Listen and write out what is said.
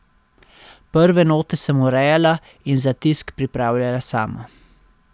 Prve note sem urejala in za tisk pripravljala sama.